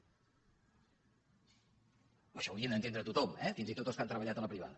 això ho hauria d’entendre tothom eh fins i tot els que han treballat a la privada